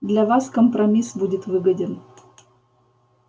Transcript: для вас компромисс будет выгоден